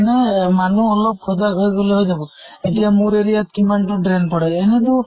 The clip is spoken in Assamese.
মানে মানুহ অলপ সজাগ হৈ গʼলে হৈ যাব। এতিয়া মোৰ area ত কিমান টো drain পৰে, এনেটো